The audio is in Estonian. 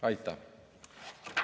Aitäh!